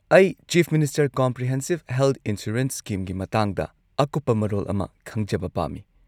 ꯑꯩ chief minister comprehensive health insurance ꯁ꯭ꯀꯤꯝꯒꯤ ꯃꯇꯥꯡꯗ ꯑꯀꯨꯞꯄ ꯃꯔꯣꯜ ꯑꯃ ꯈꯪꯖꯕ ꯄꯥꯝꯃꯤ ꯫